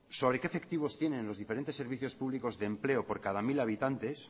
sobre qué efectivos tienen los diferentes servicios públicos de empleo por cada mil habitantes